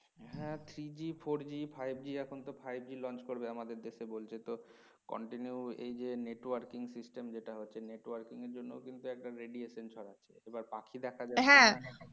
হ্যাঁ three G four G Five G খন তো five G launch করবে আমাদের দেশে বলছে তো continue এইযে networking system সেটা হচ্ছে networking এর জন্য একটা radiation ছড়াচ্ছে পাখি দেখার জন্য